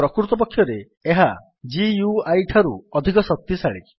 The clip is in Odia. ପ୍ରକୃତପକ୍ଷରେ ଏହା GUIଠାରୁ ଅଧିକ ଶକ୍ତିଶାଳୀ